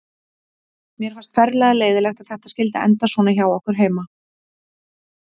Mér fannst ferlega leiðinlegt að þetta skyldi enda svona hjá okkur heima.